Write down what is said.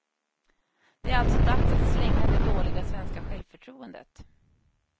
Det är alltså dags att slänga det dåliga svenska självförtroendet.